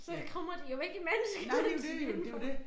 Så krummer de jo ikke imens kan man sige indenfor